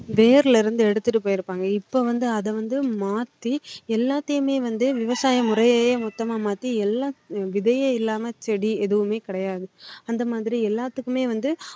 வேர்ல இருந்து எடுத்துட்டு போய் இருப்பாங்க இப்போ வந்து அதை வந்து மாத்தி எல்லாத்தையுமே வந்து விவசாயம் முறையையே மொத்தமா மாத்தி எல்லாம் விதையே இல்லாம செடி எதுவுமே கிடையாது அந்த மாதிரி எல்லாத்துக்குமே வந்து